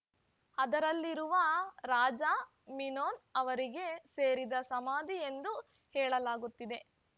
ಅದರಲ್ಲಿರುವ ರಾಜ ಮಿನೋನ್ ಅವರಿಗೆ ಸೇರಿದ ಸಮಾಧಿ ಎಂದು ಹೇಳಲಾಗುತ್ತಿದೆ